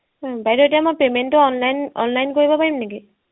বাইদেউ এতিয়া মই payment টো online, online কৰিব পাৰিম নেকি